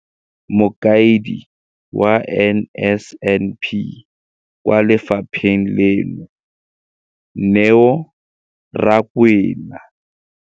Mokaedi wa NSNP kwa lefapheng leno, Neo Rakwena.